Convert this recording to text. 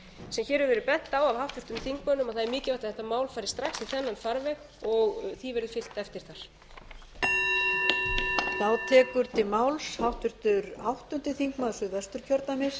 sem hér hefur verið bent á af háttvirtum þingmönnum að það er mikilvægt að þetta mál fari strax í þennan farveg og því verði fylgt eftir þar